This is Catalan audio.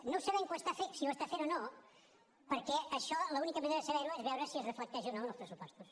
no sabem si ho està fent o no perquè això l’única manera de saber ho és veure si es reflecteix o no en els pressupostos